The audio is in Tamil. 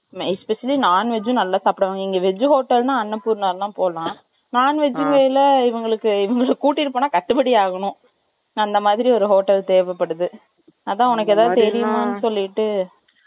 Especially , non veg உம், நல்லா சாப்பிடுவாங்க. இங்க, veg hotel ன்னா, அன்னபூர் நால்லாம் போடலாம். Non veg ல, இவங்கள, இவங்களுக்கு கூட்டிட்டு போனா, கட்டுபடி ஆகணும் அந்த மாதிரி, ஒரு hotel தேவைப்படுது. அதான், உனக்கு, ஏதாவது சொல்லிட்டு